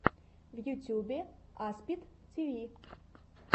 в ютьюбе аспид тиви